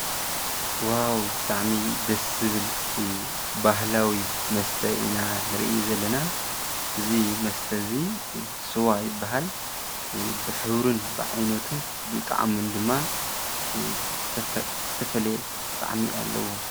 ዋዉ ! ብጣዕሚ እዩ ደስ ዝብል ባህላዊ መስተ ኢና ንሪኢ ዘለና እዚ መስተ እዚ ስዋ ይበሃል። ብሕብሩን ብዓይነቱን ብጣዕሙን ድማ ዝተፈለየ ጣዕሚ አለዎ።